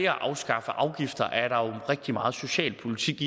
at afskaffe afgifter rigtig meget socialpolitik